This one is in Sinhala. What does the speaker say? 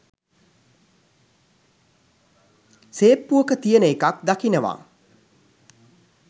සේප්පුවක තියෙන එකක් දකිනවා